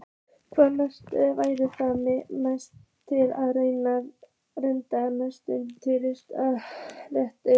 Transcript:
Hvaða leikmanni væru þið mest til að redda íslenskum ríkisborgararétt?